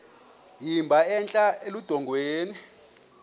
emba entla eludongeni